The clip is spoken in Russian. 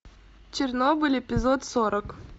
чернобыль эпизод сорок